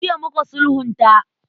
Jiya muka sulhunta.